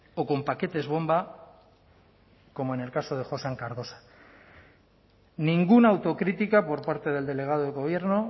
o con paquetes bomba como en el caso de josean cardosa ninguna autocrítica por parte del delegado del gobierno